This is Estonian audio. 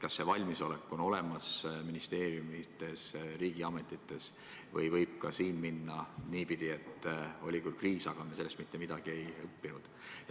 Kas valmisolek selleks on ministeeriumides, riigiametites olemas või võib ka siin minna niipidi, et oli küll kriis, aga me ei õppinud sellest midagi?